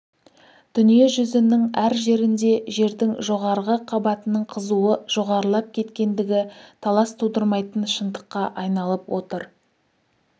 дүние жүзінің әр жерінде жердің жоғарғы қабатының қызуы жоғарылап кеткендігі талас тудырмайтын шындыққа айналып отыр